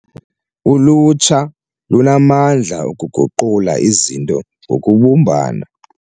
Ulutsha lunamandla okuguqula izinto ngokubumbana.